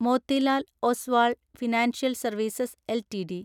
Motilal Oswal financial services LTD